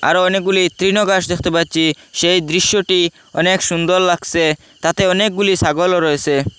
আরও অনেকগুলি তৃণ ঘাস দেখতে পাচ্ছি সেই দৃশ্যটি অনেক সুন্দর লাগসে তাতে অনেকগুলি সাগলও রয়েসে।